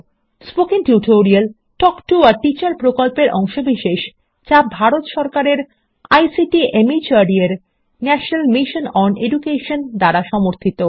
spoken tutorial talk to a teacher প্রকল্পের অংশবিশেষ যা ভারত সরকারের আইসিটি মাহর্দ এর ন্যাশনাল মিশন ওন এডুকেশন দ্বারা সমর্থিত